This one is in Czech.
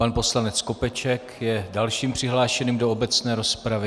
Pan poslanec Skopeček je dalším přihlášeným do obecné rozpravy.